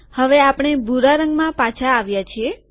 હવે આપણે ભૂરા રંગમાં પાછા આવ્યા છીએ